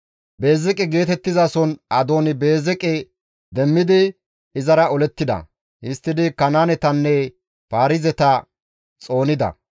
Beezeqe geetettizason Adooni-Beezeqe demmidi izara olettida; histtidi Kanaanetanne Paarizeta xoonida.